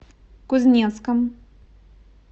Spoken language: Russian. кузнецком